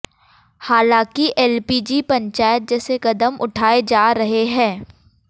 हालांकि एलपीजी पंचायत जैसे कदम उठाए जा रहे हैं